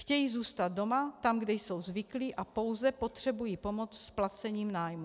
Chtějí zůstat doma, tam, kde jsou zvyklí, a pouze potřebují pomoc s placením nájmu.